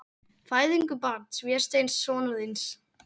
Fæðingu barns, Vésteins, sonar þíns.